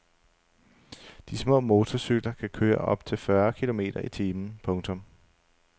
De små motorcykler kan køre op til fyrre kilometer i timen. punktum